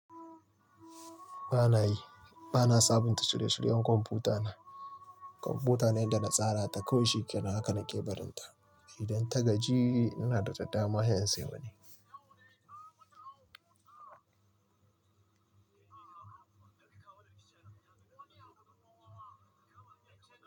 Ba na yi, ba na sabunta shirye-shiryen kwamfuta na. Kwamfuta na yadda na tsara ta kawai shikenan haka nake barin ta. Idan ta gaji ni ina da ɗama yanzu.